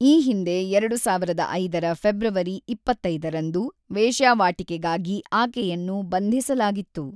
ಈ ಹಿಂದೆ ಎರಡು ಸಾವಿರದ ಐದರ ಫೆಬ್ರವರಿ ಇಪ್ಪತ್ತೈದರಂದು, ವೇಶ್ಯಾವಾಟಿಕೆಗಾಗಿ ಆಕೆಯನ್ನು ಬಂಧಿಸಲಾಗಿತ್ತು.